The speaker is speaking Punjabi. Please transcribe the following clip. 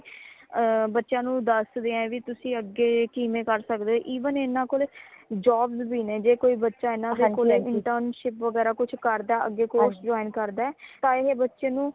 ਬੱਚਿਆਂ ਨੂ ਦਸਦੇ ਹੈ ਵੀ ਤੁਸੀ ਅਗੇ ਕਿਵੇਂ ਕਰ ਸਕਦੇ even ਇਨਾ ਕੋਲੇ job ਵੀ ਨੇ ਜੇ ਕੋਈ ਬੱਚਾ ਇਨਾ ਕੋਲੇ internship ਵਗੈਰਾ ਕੁਛ ਕਰਦਾ ਹੈ ਅਗੇ course join ਕਰਦਾ ਹੈ ਤਾ ਏ ਬੱਚੇ ਨੂ